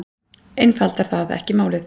Einfaldar það ekki málið?